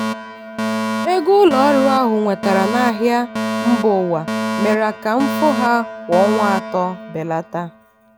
ego ụlọ ọrụ ahụ nwetara n'ahịa mba ụwa mere ka mfu ha kwa ọnwa atọ belata.